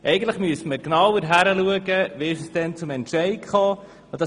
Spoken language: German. Eigentlich müsste man genauer hinschauen, wie es damals zum Entscheid gekommen ist.